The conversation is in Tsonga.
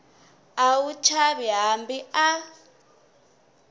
a wu chavi hambi a